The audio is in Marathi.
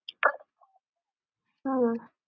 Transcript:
हा.